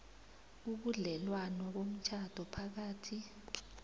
ubudlelwano bomtjhado phakathi